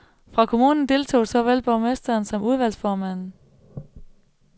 Fra kommunen deltog såvel borgmesteren som udvalgsformanden.